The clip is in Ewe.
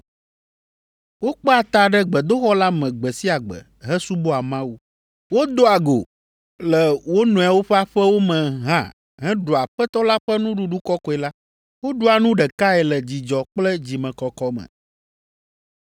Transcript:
Wokpea ta ɖe gbedoxɔ la me gbe sia gbe hesubɔa Mawu. Wodoa go le wo nɔewo ƒe aƒewo me hã heɖua Aƒetɔ la ƒe Nuɖuɖu Kɔkɔe la. Woɖua nu ɖekae le dzidzɔ kple dzimekɔkɔ me,